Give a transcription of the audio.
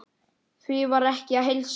Því var ekki að heilsa.